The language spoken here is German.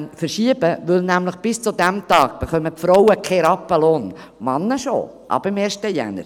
Dies, weil die Frauen bis zu diesem Tag keinen Rappen Lohn erhalten, Männer hingegen schon.